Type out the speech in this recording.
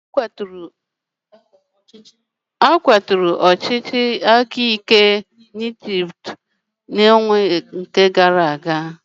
A kwaturu ọchịchị aka ike nke Egypt n'ọnwa gara aga.